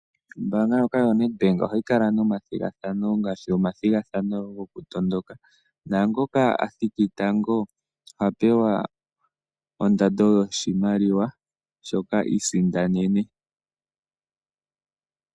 Ombaanga ndjoka yaNedbank ohayi kala nomathigathano ngaashi omathigathano gokutondoka naangoka a thiki tango oha pewa ondando yoshimaliwa shoka i isindanene.